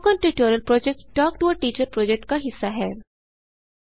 spoken tutorial project talk to a teacher project का हिस्सा है